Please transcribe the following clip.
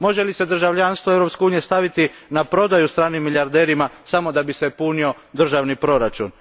Može li se državljanstvo Europske unije staviti na prodaju stranim milijarderima samo da bi se punio državni proračun?